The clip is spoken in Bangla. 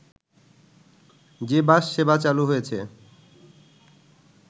যে বাস সেবা চালু হয়েছে